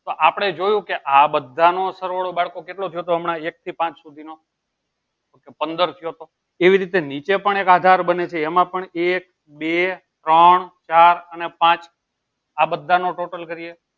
તો આપણે જોયું કે આ બધાનો સરવાળો બાળકો કેટલો થયો હતો હમણાં એક થી પાંચ સુધીનો okay પંદર થયો તો એવી રીતે નીચે પણ એક આધાર બને છે એમાં પણ એક બે ત્રણ ચાર અને પાંચ આ બધાનો total કરીએ